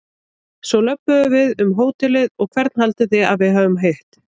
Svo löbbuðu við um hótelið og hvern haldið þið að við hafi hitt?